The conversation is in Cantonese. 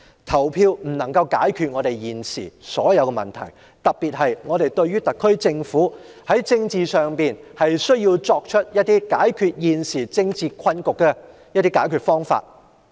投票不能解決現時所有的問題，因為現今的政治困局需要特區政府在政治上提出解決方法。